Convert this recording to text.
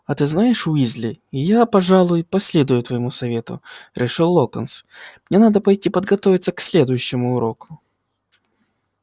а ты знаешь уизли я пожалуй последую твоему совету решил локонс мне надо пойти подготовиться к следующему уроку